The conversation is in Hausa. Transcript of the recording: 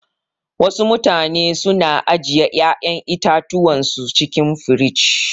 Wasu mutane su na ajiye ƴa'yan itatuwan su cikin firij.